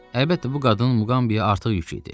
Əlbəttə, bu qadın Muqambiyə artıq yük idi.